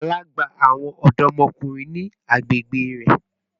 Bala n gba awọn ọdọmọkunrin ni agbegbe rẹ